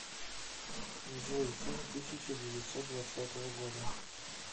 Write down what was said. джой фильм тысяча девятьсот двадцатого года